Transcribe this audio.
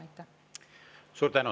Suur tänu!